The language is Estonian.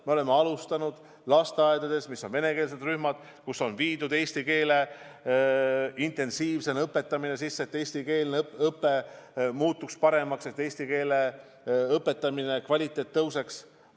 Me oleme alustanud lasteaedades, kus on venekeelsed rühmad, eesti keele intensiivset õpetamist, et eestikeelne õpe muutuks paremaks, et eesti keele õpetamise kvaliteet tõuseks.